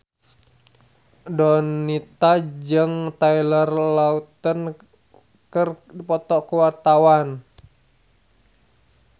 Donita jeung Taylor Lautner keur dipoto ku wartawan